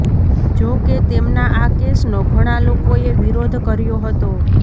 જોકે તેમના આ કેસનો ઘણા લોકોએ વિરોધ કર્યો હતો